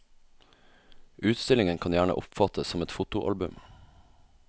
Utstillingen kan gjerne oppfattes som et fotoalbum.